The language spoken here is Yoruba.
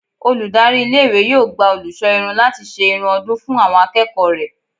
Olùdarí iléèwé yóò gba olùṣọ́ irun láti ṣe irun ọdún fún àwọn akẹ́kọ̀ọ́ rẹ̀